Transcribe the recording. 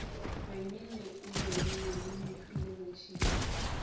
remile o remile le mehweleretshipi